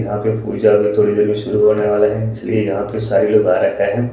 यहां पे पूजा अभी थोड़ी देर में शुरू होने वाले हैं